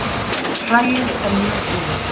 Hræið er mjög heillegt